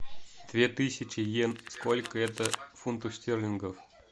две тысячи йен сколько это фунтов стерлингов